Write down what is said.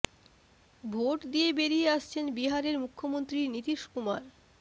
vote দিয়ে বেরিয়ে আসছেন বিহারের মুখ্যমন্ত্রী নীতীশ কুমার